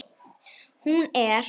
Hún er